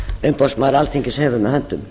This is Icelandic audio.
umboðsmaður alþingis hefur með höndum